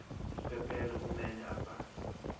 isiphephelo kumele abhale